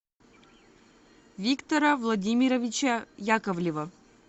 виктора владимировича яковлева